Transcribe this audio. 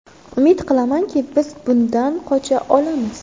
Umid qilamanki, biz bundan qocha olamiz.